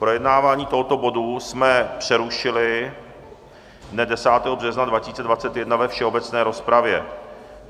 Projednávání tohoto bodu jsme přerušili dne 10. března 2021 ve všeobecné rozpravě.